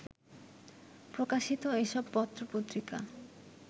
প্রকাশিত এসব পত্রপত্রিকা